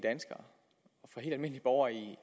borgere i